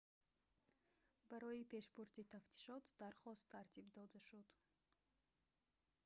барои пешбурди тафтишот дархост тартиб дода шуд